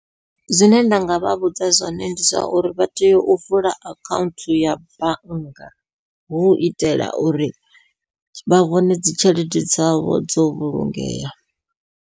Zwine nda nga vha vhudza zwone ndi zwa uri vha tea u vula akhaunthu ya bannga, hu itela uri vha vhone dzi tshelede dzavho dzo vhulungea.